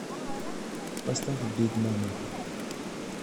поставь биг мама